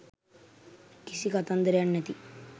කිසි කතන්දරයක් නැති..